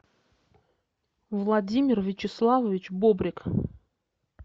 владимир вячеславович бобрик